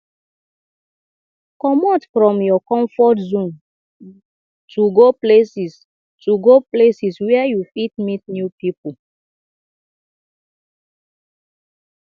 comot from your comfort zone to go places to go places where you fit meet new pipo